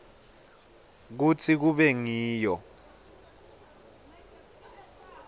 kutsi kube ngiyo